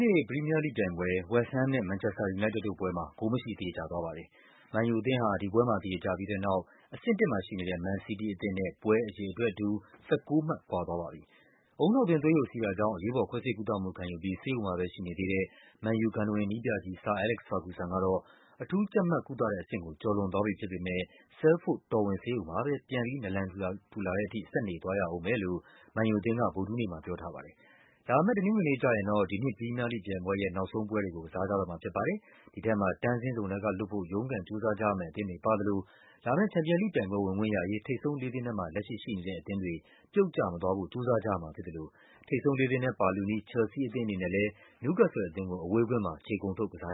နေ့ ပရီးမီးယားလိဂ်ပြိုင်ပွဲ ဝက်စ်ဟမ်းမ်နဲ့ မန်ချက်စတာ ယူနိုက်တက်တို့ပွဲမှာ ဂိုးမရှိ သရေကျသွားပါတယ်။ မန်ယူ အသင်းဟာ ဒီပွဲမှာ သရေကျပြီးတဲ့နောက် အဆင့် ၁ မန်စီးတီးအသင်းနဲ့ ပွဲအရေအတွက်တူ ၁၉ မှတ် ကွာသွားပါပြီ။ ဦးနှောက်တွင်း သွေးယိုစီးတာကြောင့် အရေးပေါ် ခွဲစိတ်ကုသမှုခံယူပြီး ဆေးရုံမှာပဲရှိနေသေးတဲ့ မန်ယူရဲ့ ဂန္ထဝင်နည်းပြကြီး ဆာ အဲလက်က်စ် ဖာဂူဆန်ကတော့ အထူးကျပ်မတ်ကုသတဲ့အဆင့်ကို ကျော်လွန်သွားပြီဖြစ်ပေမဲ့ Salford တော်ဝင်ဆေးရုံမှာပဲ ပြန်ပြီး နာလန်ထူလာတဲ့ထိ ဆက်နေသွားရဦးမယ်လို့ မန်ယူအသင်းက ဗုဒ္ဓဟူးနေ့မှာ ပြောထားပါတယ်။ လာမယ့် တနင်္ဂနွေနေ့ကျရင်တော့ ဒီနှစ် ပရီးမီးယားလိဂ်ပြိုင်ပွဲရဲ့ နောက်ဆုံးပွဲတွေကို ကစားကြတော့မှာဖြစ်ပါတယ်။ ဒီထဲမှာ တန်းဆင်းဇုံထဲကလွတ်ဖို့ ရုန်းကန် ကြိုးစားကြရမယ့် အသင်းတွေပါသလို လာမယ့် ချန်ပီယံလိဂ်ပြိုင်ပွဲ ဝင်ခွင့်ရရေး ထိပ်ဆုံးလေးသင်းထဲမှာ လက်ရှိ ရှိနေတဲ့အသင်းတွေက ပြုတ်ကျမသွားဖို့ ကြိုးစားကြရမှာဖြစ်သလို ထိပ်ဆုံးလေးသင်းထဲ ပါလုနီးချယ်လ်ဆီးအသင်းအနေနဲ့လည်း နယူးကက်ဆယ်လ်အသင်းကို အဝေးကွင်းမှာ ခြေကုန်ထုတ် ကစား